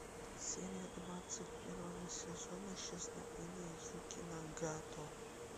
серия двадцать первого сезона исчезновение юки нагато